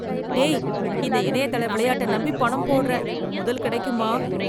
டேய். இந்த இணையதள விளையாட்டை நம்பி பணம் போடறேன். முதல் கிடைக்குமா!